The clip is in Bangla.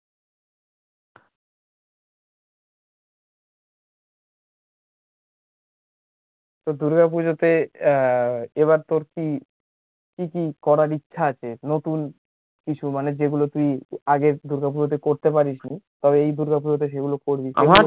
দূর্গা পুজোতে এবার তোর কি, কি কি করার ইচ্ছে আছে? নতুন কিছু, মানে যেগুলো তুই আগের দূর্গা পুজোতে করতে পারিসনি, সব এই দূর্গা পুজোতে সেগুলি করবি আমার